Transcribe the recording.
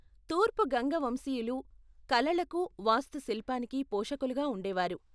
తూర్పు గంగ వంశీయులు కళలకు, వాస్తుశిల్పానికి పోషకులుగా ఉండేవారు.